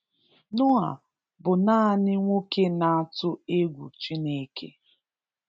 Noah bụ nanị nwoke na-atụ egwu Chineke.